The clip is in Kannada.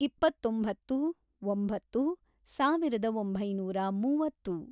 ಇಪ್ಪತ್ತೊಂಬತ್ತು, ಒಂಬತ್ತು, ಸಾವಿರದ ಒಂಬೈನೂರ ಮೂವತ್ತು